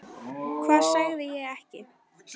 Hvað sagði ég ekki?